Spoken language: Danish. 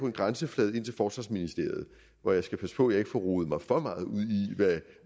en grænseflade til forsvarsministeriet og jeg skal passe på at jeg ikke får rodet mig for meget ud i